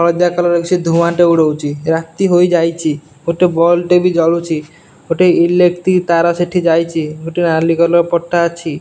ହଳଦିଆ କଲର୍ ଅଛି। ଧୁଆଁଟେ ଉଡ଼ଉଚି। ରାତି ହୋଇଯାଇଚି। ଗୋଟେ ବଲ୍ ଟେ ବି ଜଳୁଚି। ଗୋଟେ ଇଲେକ୍ଟ୍ରି ତାର ସେଠି ଯାଇଚି। ଗୋଟେ ନାଲି କଲର୍ ପଟା ଅଛି।